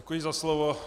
Děkuji za slovo.